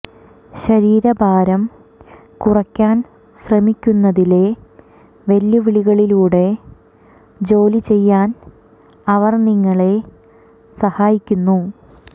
ശരീരഭാരം കുറയ്ക്കാൻ ശ്രമിക്കുന്നതിലെ വെല്ലുവിളികളിലൂടെ ജോലി ചെയ്യാൻ അവർ നിങ്ങളെ സഹായിക്കുന്നു